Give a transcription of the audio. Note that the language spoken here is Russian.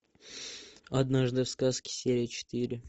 однажды в сказке серия четыре